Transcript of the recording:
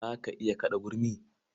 Za ka iya kaɗa gurmi?